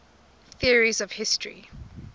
theories of history